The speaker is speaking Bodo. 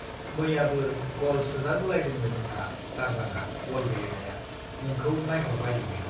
मैयाबो ग'ल सोजागुलायदोंनो जोंहा दारजांआ बल गेलेनाया- नोंखौ नाइह'रबायैनो ।